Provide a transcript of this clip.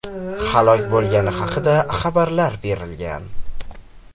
halok bo‘lgani haqida xabarlar berilgan.